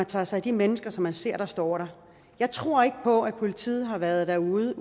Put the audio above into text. tager sig af de mennesker som man ser står der jeg tror ikke på at politiet har været derude